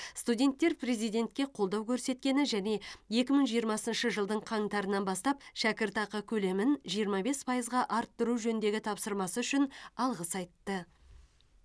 студенттер президентке қолдау көрсеткені және екі мың жиырмасыншы жылдың қаңтарынан бастап шәкіртақы көлемін жиырма бес пайызға арттыру жөніндегі тапсырмасы үшін алғыс айтты